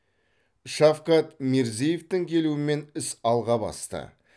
шавкат мирзиевтің келуімен іс алға басты